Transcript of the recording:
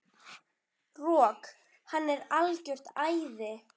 Rok, hann er algjört æði.